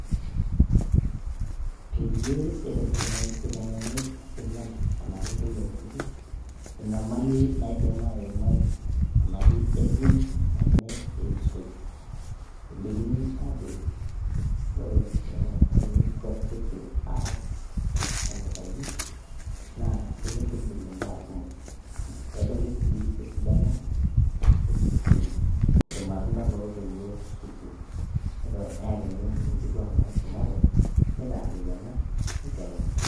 Peiye eitengeni isilan anaake ntoiye kutiti enyamali naidim aimai anaake emion name eishoi ,elikini aajoki ore enikuetiki aas anutayu naa ekintigil imbaa kumok, pedoli sii esidano esukuul, ormatunda lotoiwo sukuulm, meta eakini enkituak naisomate meitaaririyana neitengen.